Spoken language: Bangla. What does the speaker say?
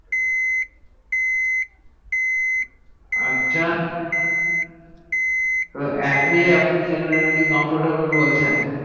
আচ্ছা অ্যাপ আপনি জেনারেলি comfitubol বলছেন